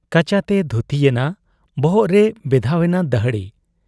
ᱠᱟᱪᱟ ᱛᱮᱭ ᱫᱷᱩᱛᱤ ᱜᱮᱱᱟ ᱾ ᱵᱚᱦᱚᱜ ᱨᱮᱭ ᱵᱮᱫᱷᱟᱣ ᱮᱱᱟ ᱫᱟᱹᱦᱲᱤ ᱾